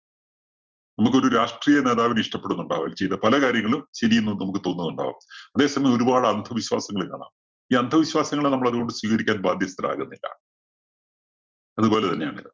നമ്മുക്ക് ഒരു രാഷ്ട്രീയ നേതാവിനെ ഇഷ്ടപ്പെടുന്നുണ്ടാവും. ചെയ്ത പല കാര്യങ്ങളും ശരിയെന്ന് നമുക്ക് തോന്നുണ്ടാവും. അതേസമയം ഒരു പാട് അന്ധവിശ്വാസങ്ങള് കാണാം. ഈ അന്ധവിശ്വാസങ്ങളെ നമ്മള് അതുകൊണ്ട് സ്വീകരിക്കാന്‍ ബാധ്യസ്ഥരാകുന്നില്ല. അത് പോലെ തന്നെയാണിത്.